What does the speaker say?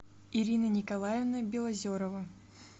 ирина николаевна белозерова